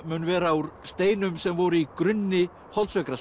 mun vera úr steinum sem voru í grunni